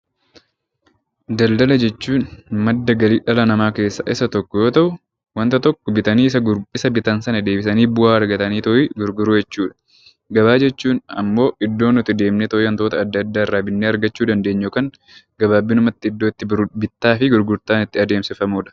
Daldala jechuun madda galii dhala namaa keessaa isa tokko yoo ta'u, wanta tokko bitanii deebisanii bu'aa argatanii gurguruu jechuudha. Gabaa jechuun immoo iddoo nuti deemnee gurgurree wantoota adda addaa irraa argachuu dandeenyu kan bittaa fi gurgurtaan itti taasifamudha.